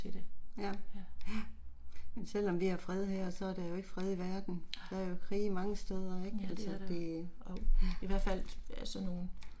Ja, ja. Men selvom vi har fred her så er der jo ikke fred i verden. Der er jo krige mange stedet ik altså det, ja